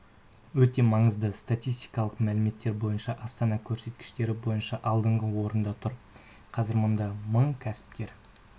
өте маңызды статистикалық мәліметтер бойынша астана көрсеткіштері бойынша алдыңғы орында тұр қазір мұнда мың кәсіпкер